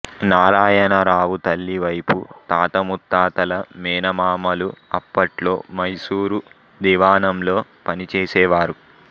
నారాయణరావు తల్లి వైపు తాత ముత్తాతలు మేనమామలు అప్పట్లో మైసూరు దివాణంలో పనిచేసేవారు